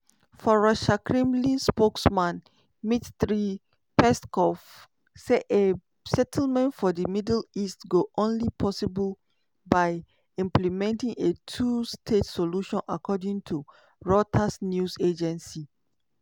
forrussiakremlin spokesman dmitry peskov say a settlement for di middle east go only possible by implementing a two-state solution according to reuters news agency.